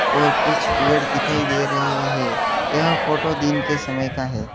और कुछ पेड़ दिखाई दे रहे हैं यह फोटो दिन के समय का है।